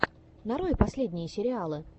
нарой последние сериалы